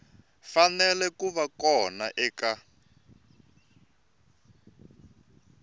fanele ku va kona eka